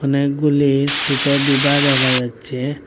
অনেকগুলি সোটো ডিবা দেখা যাচ্ছে।